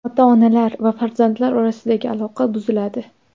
Ota-onalar va farzandlar orasidagi aloqa buziladi.